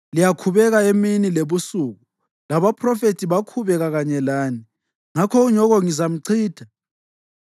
Liyakhubeka emini lebusuku, labaphrofethi bakhubeka kanye lani. Ngakho unyoko ngizamchitha,